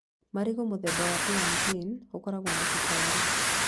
Marigũ mũthemba wa buranitĩini ũkoragwo na cukari